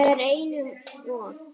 Þetta er einum of,